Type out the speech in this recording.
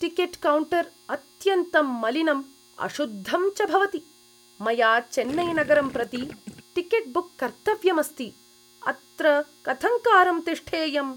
Ticket counter अत्यन्तं मलिनं अशुद्धं च भवति, मया चेन्नैनगरं प्रति टिकेट् बुक् कर्तव्यमस्ति, अत्र कथङ्कारं तिष्ठेयम्?